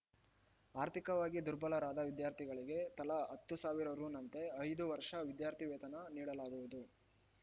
ಆರ್ಥಿಕವಾಗಿ ದುರ್ಬಲರಾದ ವಿದ್ಯಾರ್ಥಿಗಳಿಗೆ ತಲಾ ಹತ್ತು ಸಾವಿರ ರುನಂತೆ ಐದು ವರ್ಷ ವಿದ್ಯಾರ್ಥಿ ವೇತನ ನೀಡಲಾಗುವುದು